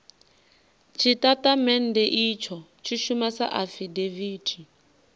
tshitatamennde itsho tshi shuma sa afidaviti